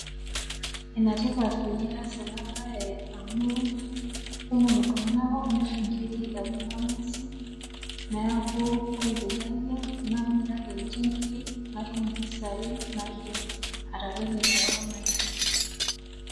Enetipat peyie ias ena baye amu kumok iltung'ana omirr inkiri e kuna ng'uesi, neaku ore peyie ayieng' namiraki ninche nkiri natum impisai naidim ataretie kewon ai.